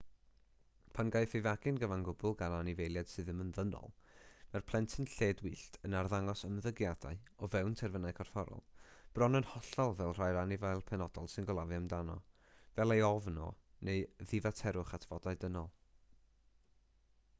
pan gaiff ei fagu'n gyfan gwbl gan anifeiliaid sydd ddim yn ddynol mae'r plentyn lledwyllt yn arddangos ymddygiadau o fewn terfynau corfforol bron yn hollol fel rhai'r anifail penodol sy'n gofalu amdano fel ei ofn o neu ddifaterwch at fodau dynol